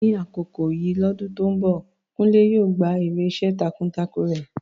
Ní àkókò yìí lọ́dún tó ń bọ̀, Kunle yóò gba èrè iṣẹ́ takuntakun rẹ̀.